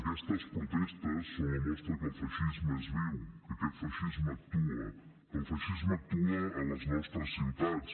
aquestes protestes són la mostra que el feixisme és viu que aquest feixisme actua que el feixisme actua a les nostres ciutats